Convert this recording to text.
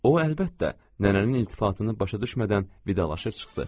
O, əlbəttə, nənənin iltifatını başa düşmədən vidalaşıb çıxdı.